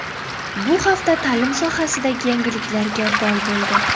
Bu hafta ta’lim sohasidagi yangiliklarga boy bo‘ldi.